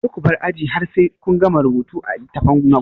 Kar kubar aji har sai kun gama rubuta a littafin ku